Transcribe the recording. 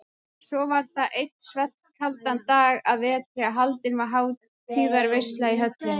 Svo var það einn svellkaldan dag að vetri að haldin var hátíðarveisla í höllinni.